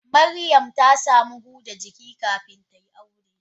Miriam ta samu huda jiki kafin tayi aure.